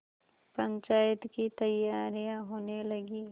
पंचायत की तैयारियाँ होने लगीं